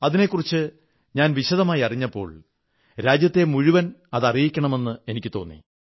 അതിനെക്കുറിച്ച് ഞാൻ വിശദമായി അറിഞ്ഞപ്പോൾ രാജ്യത്തെ മുഴുവൻ അതറിയിക്കണമെന്ന് എനിക്കു തോന്നി